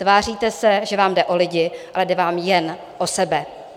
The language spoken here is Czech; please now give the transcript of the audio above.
Tváříte se, že vám jde o lidi, ale jde vám jen o sebe.